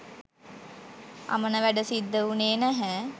අමන වැඩ සිද්ද උනේ නැහැ